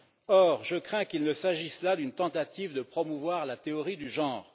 Or, je crains qu'il ne s'agisse là d'une tentative de promouvoir la théorie du genre.